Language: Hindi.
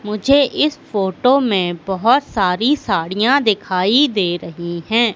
मुझे इस फोटो में बहुत सारी साड़ियां दिखाई दे रही हैं।